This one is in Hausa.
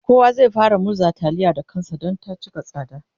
kowa zai fara murza taliya Da kansa Dan ta cika tsada